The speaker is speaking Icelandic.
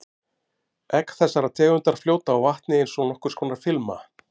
Egg þessarar tegundar fljóta á vatni eins og nokkurs konar filma.